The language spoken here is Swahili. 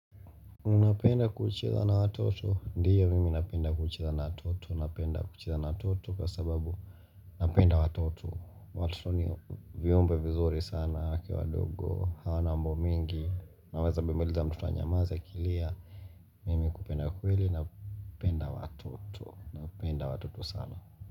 Unapenda kucheza na watoto ndio mimi napenda kucheza na watoto napenda kucheza na watoto kwa sababu Napenda watoto watoto ni viumbe vizuri sana wakiwa wadogo hawana mambo mingi Naweza bebeleza mtoto anyamaze akilia Mimi kupenda kweli napenda watoto napenda watoto sana.